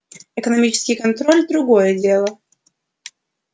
экономический контроль другое дело